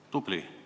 Tubli!